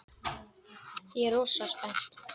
Ég er rosa spennt.